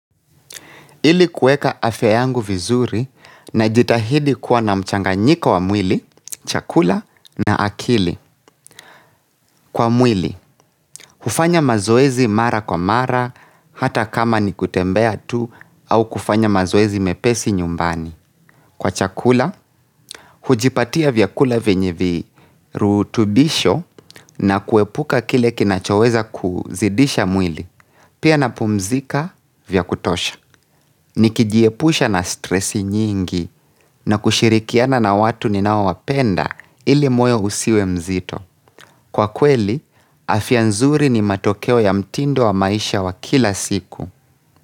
Ili kuweka afya yangu vizuri najitahidi kuwa na mchanganyiko wa mwili, chakula na akili. Kwa mwili, hufanya mazoezi mara kwa mara hata kama ni kutembea tu au kufanya mazoezi mepesi nyumbani. Kwa chakula, hujipatia vyakula vyenye virutubisho na kuepuka kile kinachoweza kuzidisha mwili. Pia napumzika vya kutosha. Nikijiepusha na stresi nyingi na kushirikiana na watu ninaowapenda ili moyo usiwe mzito. Kwa kweli, afya nzuri ni matokeo ya mtindo wa maisha wa kila siku.